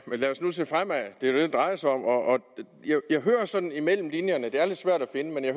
lad os nu se fremad det er jo det det drejer sig om og imellem linjerne det er lidt svært at finde det